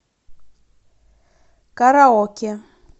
караоке